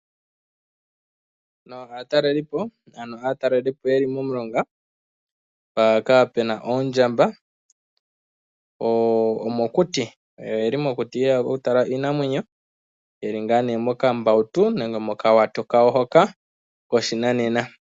Aatalelipo yeli momulonga mpoka pena oondjamba , omokuti yeli yeya okutala Iinamwenyo, yeli ngaa nee mokambawutu nenge mokawato kawo hoka koshinanena.